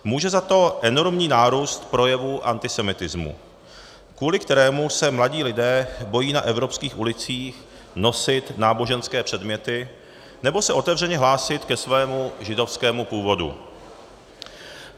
Může za to enormní nárůst projevů antisemitismu, kvůli kterému se mladí lidé bojí na evropských ulicích nosit náboženské předměty nebo se otevřeně hlásit ke svému židovskému původu.